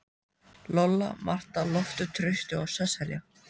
Lolla, Marta, Loftur, Trausti og Sesselía.